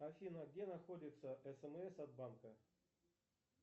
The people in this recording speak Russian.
афина где находится смс от банка